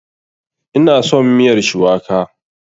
Ina son miyar shuwaka.